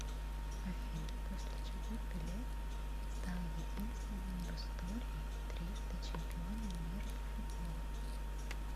афина после чего пеле стал единственным в истории трижды чемпионом мира по футболу